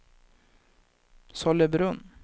Sollebrunn